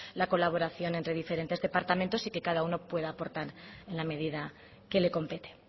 la colaboración entre diferentes departamentos y que cada uno pueda aportar en la medida que le compete